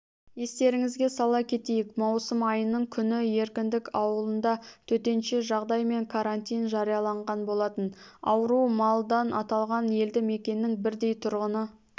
естеріңізге сала кетейік маусым айының күні еркіндік ауылында төтенше жағдай мен карантин жарияланған болатын ауру малдан аталған елді мекеннің бірдей тұрғыны